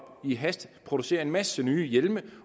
i hast at producere en masse nye hjelme